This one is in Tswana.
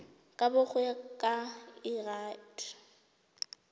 kabo go ya ka lrad